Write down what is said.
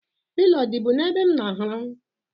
Pilo ọ dịbu n'ebe m n'arahụ?